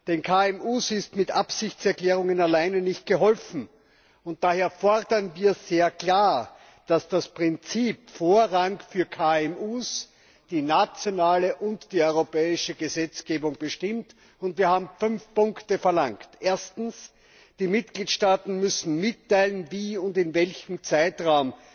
Den KMU ist mit Absichtserklärungen allein nicht geholfen, und daher fordern wir sehr klar, dass das Prinzip Vorrang für KMU die nationale und die europäische Gesetzgebung bestimmt, und wir haben vier Punkte verlangt. Erstens Die Mitgliedstaaten müssen mitteilen, wie und in welchem Zeitraum